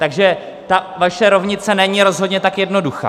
Takže ta vaše rovnice není rozhodně tak jednoduchá.